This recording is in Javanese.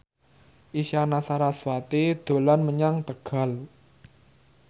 Isyana Sarasvati dolan menyang Tegal